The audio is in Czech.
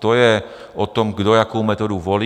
To je o tom, kdo jakou metodu volí.